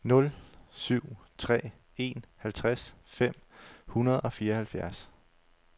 nul syv tre en halvtreds fem hundrede og fireoghalvfjerds